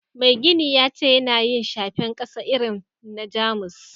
Mai gini ya ce yana yin shafen kasa irin na jamus